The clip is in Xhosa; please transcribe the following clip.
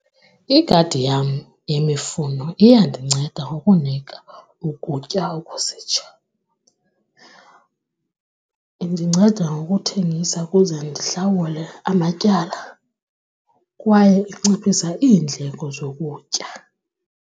Igadi yam yemifuno iyandinceda ukunika ukutya . Indinceda ngokuthengisa ukuze ndihlawule amatyala kwaye inciphisa iindleko zokutya.